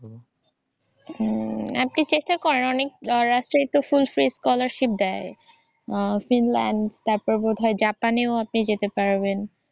হম আপনি চেষ্টা করেন অনেক রাষ্ট্রে তো full paid scholarship দেয়। ফিনল্যান্ড তারপর বোধহয় জাপানেও আপনি যেতে পারবেন।